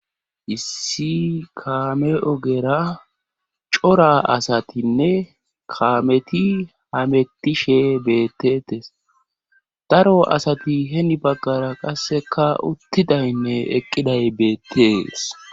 Issi kaame ogera cora asatinne kameti hametishe beettetes daro asati heni baggara qasseka uttidaynne eqqiday beettees.